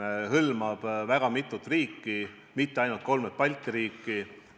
See hõlmab mitut riiki, mitte ainult kolme Balti riiki.